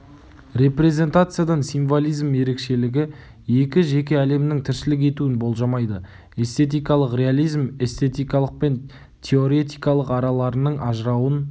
репрезентациядан символизм ерекшелігі екі жеке әлемнің тіршілік етуін болжамайды эстетикалық реализм эстетикалық пен теоретикалық араларының ажырауын